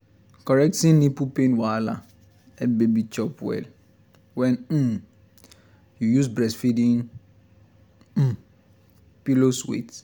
correcting nipple pain wahala help baby chop well when um you use breastfeeding um pillows wait